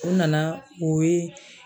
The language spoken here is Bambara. U nana u ye